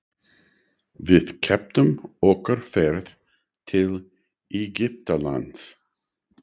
Við keyptum okkur ferð til Egyptalands.